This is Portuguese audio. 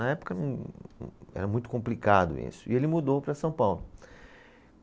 Na época humm, era muito complicado isso, e ele mudou para São Paulo.